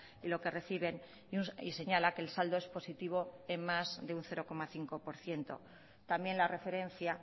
y lo que reciben y señala que el saldo es positivo en más de un cero coma cinco por ciento también la referencia